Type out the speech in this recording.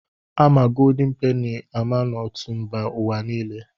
A ma goldin peni na ọtụtụ mba ụwa niile.